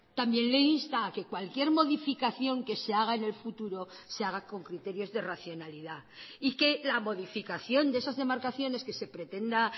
también le insta a que cualquier modificación que se haga en el futuro se haga con criterios de racionalidad y que la modificación de esas demarcaciones que se pretenda